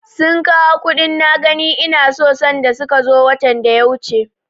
Sun kawo kuɗin na gani ina so sanda suka zo watan da ya wuce.